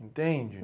Entende?